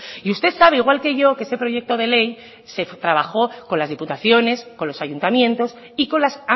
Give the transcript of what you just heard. y usted sabe igual que yo que ese proyecto de ley se trabajó con las diputaciones con los ayuntamientos y con las